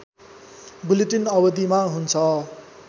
bulletin अवधिमा हुन्छ